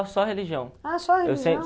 Só religião... Ah, só religião